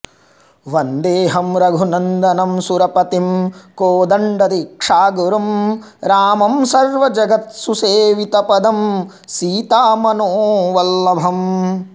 वन्देहं रघुनन्दनं सुरपतिं कोदण्ड दीक्षागुरुं रामं सर्वजगत् सुसेवितपदं सीतामनोवल्लभम्